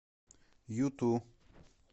юту